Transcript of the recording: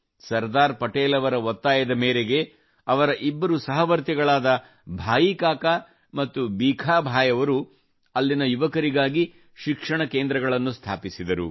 ಸರ್ದಾರ್ ಪಟೇಲ್ ಅವರ ಒತ್ತಾಯದ ಮೇರೆಗೆ ಅವರ ಇಬ್ಬರು ಸಹವರ್ತಿಗಳಾದ ಭಾಯಿ ಕಾಕಾ ಮತ್ತು ಭೀಖಾ ಭಾಯಿ ಅವರು ಅಲ್ಲಿನ ಯುವಕರಿಗಾಗಿ ಶಿಕ್ಷಣ ಕೇಂದ್ರಗಳನ್ನು ಸ್ಥಾಪಿಸಿದರು